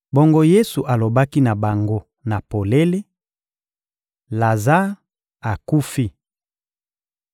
Bongo Yesu alobaki na bango na polele: — Lazare akufi.